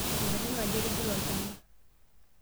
Nkatitin aja itigila olchamba.